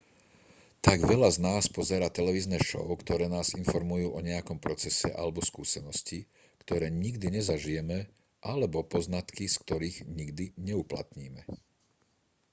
tak veľa z nás pozerá televízne šou ktoré nás informujú o nejakom procese alebo skúsenosti ktoré nikdy nezažijeme alebo poznatky z ktorých nikdy neuplatníme